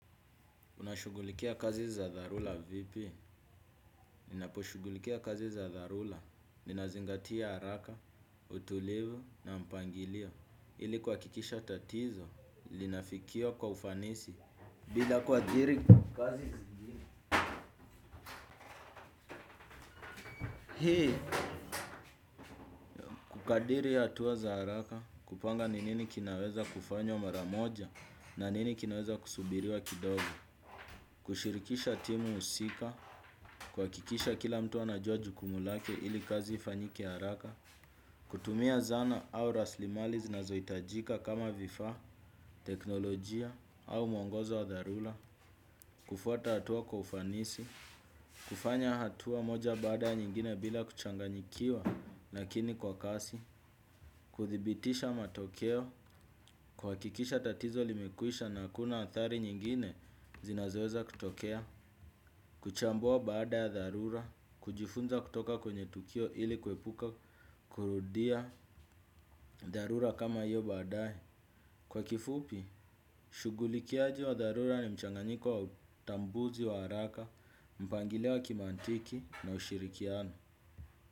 Unashugulikia kazi za dharura vipi? Ninaposhugulikia kazi za dharula. Ninazingatia haraka, utulivu na mpangilio. Ili kuhakikisha tatizo, linafikia kwa ufanisi. Bila kuadhiri kazi zingine kukadiri hatua za haraka, kupanga ni nini kinaweza kufanywa mara moja, na nini kinaweza kusubiriwa kidogo. Kushirikisha timu husika, kuhakikisha kila mtu anajua jukumu lake, ili kazi ifanyike haraka, kutumia zana au rasilimali zinazohitajika kama vifaa, teknolojia au mwongozo wa dharura, kufuata hatua kwa ufanisi, kufanya hatua moja baada ya nyingine bila kuchanganyikiwa, lakini kwa kasi, kuthibitisha matokeo, kuhakikisha tatizo limekwisha na hakuna athari nyingine zinazoweza kutokea, kuchambua baada ya dharura, kujifunza kutoka kwenye tukio ili kuepuka kurudia dharura kama hiyo baadae. Kwa kifupi, shugulikiaji wa dharura ni mchanganyiko wa utambuzi wa haraka, mpangilio wa kimantiki na ushirikiano.